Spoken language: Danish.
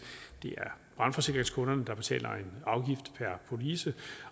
det er brandforsikringskunderne der betaler en afgift per police